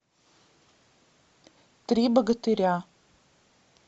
три богатыря